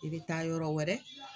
I be taa yɔrɔ wɛrɛ